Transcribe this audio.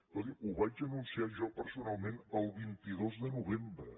escolti’m ho vaig anunciar jo personalment el vint dos de novembre